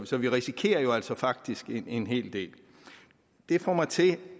så vi risikerer jo altså faktisk en hel del det får mig til